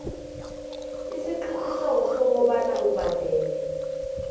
isiqiniseko sokobana ubhadela